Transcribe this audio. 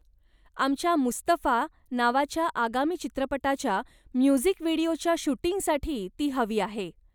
आमच्या 'मुस्तफा' नावाच्या आगामी चित्रपटाच्या म्युझिक व्हिडिओच्या शूटिंगसाठी ती हवी आहे.